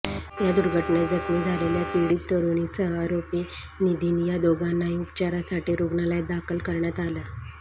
या दुर्घटनेत जखमी झालेल्या पीडित तरुणीसह आरोपी निधिन या दोघांनाही उपचारासाठी रुग्णालयात दाखल करण्यात आलं